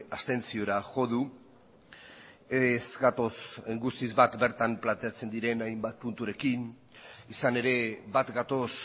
abstentziora jo du ez gatoz guztiz bat bertan planteatzen diren hainbat punturekin izan ere bat gatoz